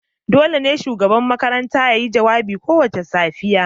dole ne shugaban makarantar ya yi jawabi kowace safiya